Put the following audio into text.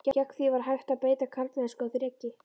Gegn því var hægt að beita karlmennsku og þreki.